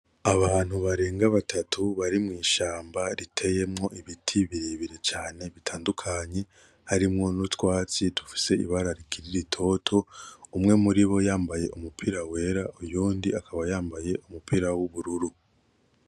Abantu barenga batatu bari mw’ishamba riteyemwo ibiti birebire cane bitandukanye harimwo n'utwatsi dufise ibara rikiri ritoto umwe muribo yambaye umupira wera uyundi akaba yambaye umupira w'ubururu.